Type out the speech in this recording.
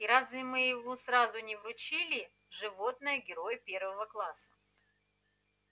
и разве мы ему сразу не вручили ему животное-герой первого класса